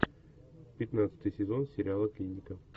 пятнадцатый сезон сериала клиника